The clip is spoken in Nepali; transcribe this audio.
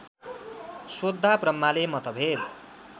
सोध्दा ब्रह्माले मतभेद